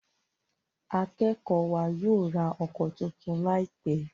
Akékòó wa yóò rá òko títún láìpé.